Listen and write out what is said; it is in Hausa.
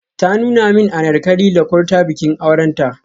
Ta nuna min Anarkali da Kurta bikin aurenta.